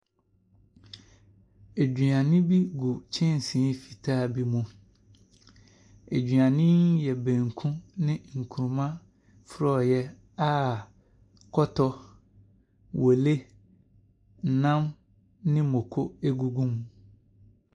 Aduane bi gu kyɛnsee fitaa bi mu. Aduane yi yɛ baanku ne nkruma frɔeɛ a kɔtɔ, wɔle, nam ne moko gugu ho.